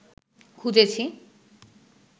খুঁজেছি